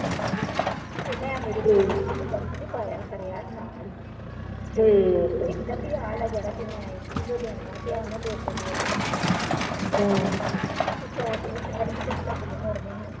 ਕੰਬਲ ਵਿੱਚੋ ਤੇ ਮੈਂ ਮੇਰੇ ਕੋਲ ਉਹ ਪਾਰਸ ਚ ਪਾਇਆ ਹਰਿਆ ਨਾਲ ਹੀ ਤੇ ਆ ਜਿਹੜਾ ਮੈਂ ਇਕੀ ਸੌ ਦੇਣਾ ਵਾ ਤੇ ਆ ਉਹਨੇ ਦੋ ਸੌ ਦੇ ਦਿੱਤਾ ਵਾ ਤੇ ਸੌ ਦੇ ਵਿੱਚੋ ਹਾਜੇ ਪਚੱਤਰ ਰੁਪਏ ਮੋੜਨੇ ਨਾ ਵਾ